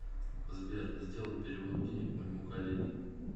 сбер сделай перевод денег моему коллеге